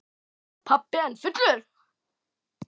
Pabbi enn fullur.